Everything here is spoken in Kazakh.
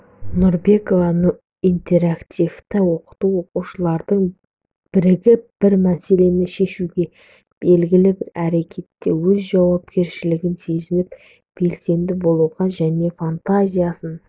нұрбекова интерактивті оқыту оқушылардың бірігіп бір мәселені шешуге белгілі бір әрекетте өз жауапкершілігін сезініп белсенді болуға және фантазиясын